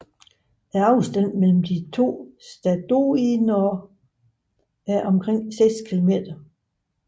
Afstanden mellem de to stadoiner er omkring 6 kilometer